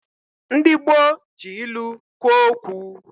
Ndi gboo ji ilu kwo uokwu